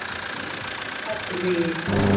Ölkelduvegi